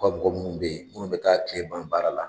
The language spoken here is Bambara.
U Ka mɔgɔ munnu be yen munnu be taa kile ban baara la